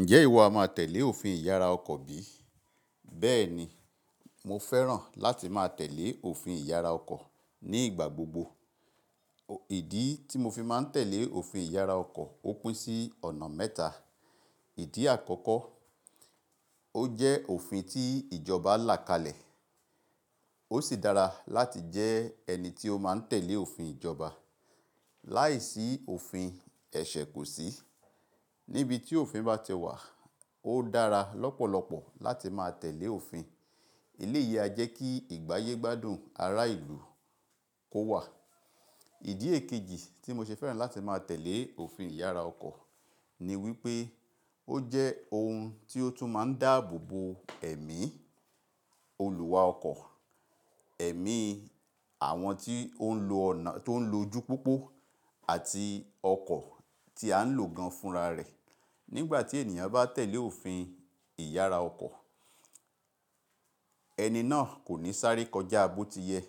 Ǹjẹ́ ìwọ a máa tẹ̀lé òfin ìyára ọkọ̀ bí? Bẹ́ẹ̀ni, mo fẹ́ràn láti máa tẹ̀lé òfin ìyára ọkọ̀ ní ìgbà gbogbo. Ìdí tí mo fi máa tẹ̀lé òfin ìyára ọkọ̀ ó pín sí ọ̀nà mẹ́ta. Ìdí àkọ́kọ́, ó jẹ́ òfin tí ìjọba là kalẹ̀. Ó sì dára láti jẹ́ ẹni tí ó máa tẹ̀lé òfin ìjọba. Láìsí òfin ẹ̀ṣẹ̀ kò sí. Níbi tí òfin bá tẹ wà, ó dára lọ́pọ̀lọpọ̀ láti máa tẹ̀lé òfin. Eléyìí a jẹ́ kí ìgbáyé gbádùn ará ìlú kó wà. Ìdí èkejì tí mo ṣe fẹ́ràn láti máa tẹ̀lé òfin ìyára ọkọ̀ ni wípé ó jẹ́ ohun tí ó tún máa ń dáàbò bo ẹ̀mí olùwà ọkọ̀, ẹ̀mí àwọn tí ó ń lo ọ̀nà tó ń lo ojú pópó àti ọkọ̀ tí à ń lò gan fún ra rẹ̀. Nígbà tí ènìyàn bá tẹ̀lé òfin ìyára ọkọ̀, ẹni náà kò ní sáré kọjá bó ti yẹ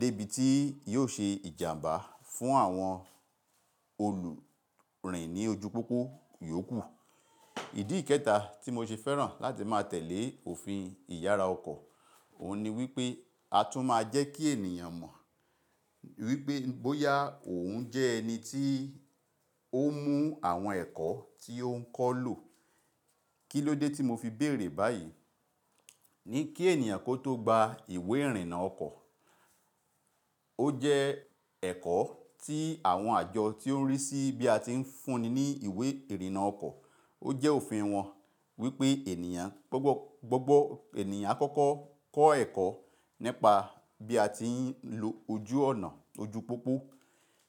dé ibi tí yóò ṣe ìjàmbá fún àwọn olùrìn ní ojú pópó yóò kù. Ìdí kẹ́ta tí mo ṣe fẹ́ràn láti máa tẹ̀lé òfin ìyára ọkọ̀, òun ni wípé a tún máa jẹ́ kí ènìyàn mọ̀ wípé bóyá òun jẹ́ ẹni tí ó mú àwọn ẹ̀kọ́ tí ó ń kọ́ lò. Kí ló dé tí mo fi béèrè báyìí? Ni kí ènìyàn kó tó gba ìwé ìrìnnà ọkọ̀, ó jẹ́ ẹ̀kọ́ tí àwọn àjọ tí ó ń rí sí bí a ti ń fúnni ní ìwé ìrìnnà ọkọ̀, ó jẹ́ òfin wọn wípé ènìyàn á kọ́kọ́ kọ́ ẹ̀kọ́ nípa bí a ti ń lo ojú ọ̀nà ojú pópó.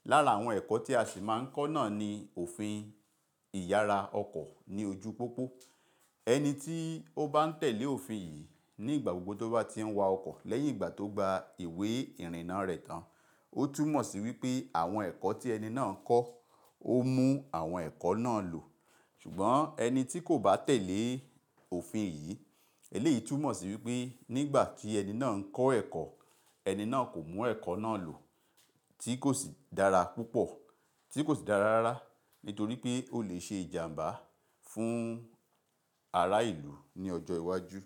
Lára àwọn ẹ̀kọ́ tí a sì máa ń kọ́ náà ni òfin ìyára ọkọ̀ ní ojú pópó. Ẹni tí ó bá ń tẹ̀lé òfin yìí ní ìgbà gbogbo tó bá ti ń wa ọkọ̀ lẹ́yìn ìgbà tó gba ìwé ìrìnnà rẹ̀ tán, ó tún mọ̀ sí wípé àwọn ẹ̀kọ́ tí ẹni náà ń kọ́, ó mú àwọn ẹ̀kọ́ náà lò. Ṣùgbọ́n ẹni tí kò bá tẹ̀lé òfin yìí, eléyìí tún mọ̀ sí wípé nígbà tí ẹni náà ń kọ́ ẹ̀kọ́, ẹni náà kò mú ẹ̀kọ́ náà lò tí kò sì dára púpọ̀, tí kò sì dára rárá nítorí pé ó lè ṣe ìjàmbá fún ará ìlú ní ọjọ́ iwájú.